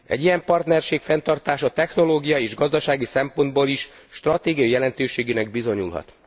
Egy ilyen partnerség fenntartása technológiai és gazdasági szempontból is stratégiai jelentőségűnek bizonyulhat.